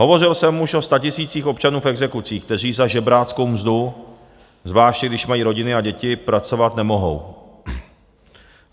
Hovořil jsem už o statisících občanů v exekucích, kteří za žebráckou mzdu, zvláště když mají rodiny a děti, pracovat nemohou.